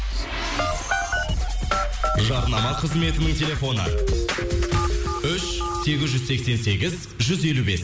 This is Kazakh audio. жарнама қызметінің телефоны үш сегіз жүз сексен сегіз жүз елу бес